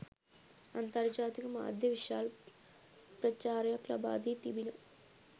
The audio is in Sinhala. අන්තර්ජාතික මාධ්‍ය විශාල ප්‍රචාරයක් ලබා දී තිබිණ.